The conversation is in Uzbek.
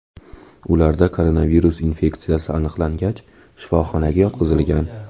Ularda koronavirus infeksiyasi aniqlangach, shifoxonaga yotqizilgan.